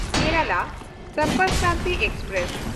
Kerala Sampark Kranti express